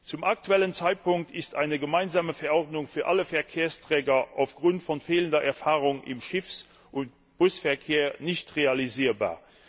Zum aktuellen Zeitpunkt ist eine gemeinsame Verordnung für alle Verkehrsträger aufgrund fehlender Erfahrung im Schiffs und Busverkehr nicht realisierbar.